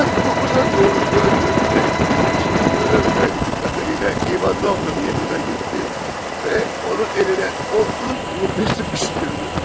Saat doqquza doğru döndü və heç bir şey söyləmədən Katarina İvanovnanın yanına getdi və onun əlinə otuz ruble sıxışdırdı.